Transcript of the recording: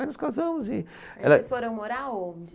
Aí nos casamos e ela... Vocês foram morar onde?